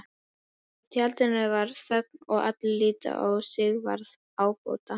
Í tjaldinu varð þögn og allir litu á Sigvarð ábóta.